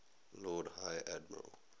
lord high admiral